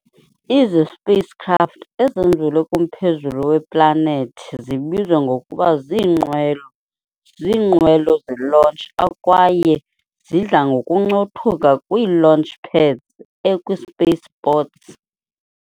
Izi-Spacecraft ezenzelwe kumphezulu we-planethi zibizwa ngokuba ziinqwelo ziinqwelo ze-launch akwaye zidla ngokuncothuka kwii-launch pads ekwi-spaceports.